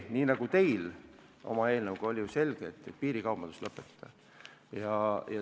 Nii nagu teil oma eelnõuga, on meiegi eesmärk selge: piirikaubandus tuleb lõpetada.